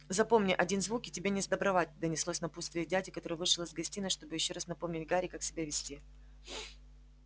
запомни один звук и тебе несдобровать донеслось напутствие дяди который вышел из гостиной чтобы ещё раз напомнить гарри как себя вести